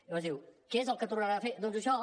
i aleshores diu què és el que tornaran a fer doncs això